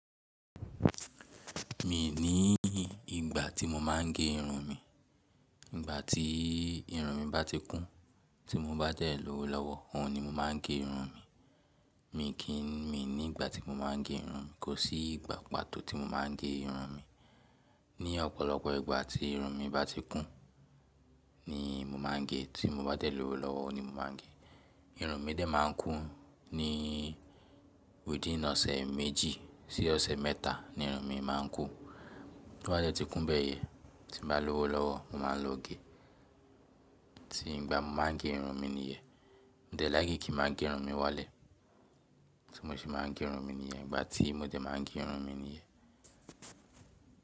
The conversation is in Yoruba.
Mi ni ìgbà tí mo máa ń gé irun mi. Ìgbà tí irun mi bá ti kún, tí mo bá dẹ̀ lọ́wọ́ lọ́wọ́, òun ni mo máa ń gé irun mi. Mi kì í mi ní ìgbà tí mo máa ń gé irun mi. Kò sí ìgbà pàtó tí mo máa ń gé irun mi. Ni ọ̀pọ̀lọpọ̀ ìgbà tí irun mi bá ti kún ni mo máa ń gé. Tí mo bá jẹ̀ lọ́wọ́ lọ́wọ́ ni mo máa ń gé. Irun mi dẹ̀ máa ń kún ní within ọ̀sẹ̀ méjì sí ọ̀sẹ̀ mẹ́ta ni irun mi máa ń kún. Bí ó bá jẹ́ tí kún bẹ́yẹn, tí n bá lọ́wọ́ lọ́wọ́, mo máa lọ gé. Tí ìgbà mo máa ń gé irun mi nìyẹn. Mo de láìkí kí n máa gé irun mi wálẹ̀. Ti mo se máa ń gé irun mi nìyẹn. Ìgbà tí mo dẹ máa ń gé irun mi nìyẹn.